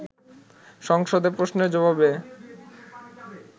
সংসদে প্রশ্নের জবাবে